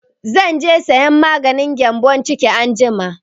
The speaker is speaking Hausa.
Zan je sayan maganin gyambon ciki anjima